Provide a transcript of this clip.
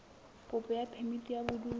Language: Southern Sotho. kopo ya phemiti ya bodulo